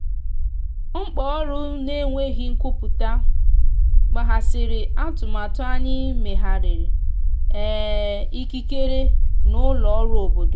mkpaọrụ na enweghi nkwụpụta kpaghasiri atụmatụ anyi mmeghari um ikikere na ụlọ ọrụ obodo.